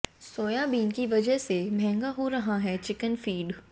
soybean की वजह से महंगा हो रहा चिकन फीड